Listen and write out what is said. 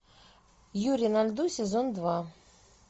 юрий на льду сезон два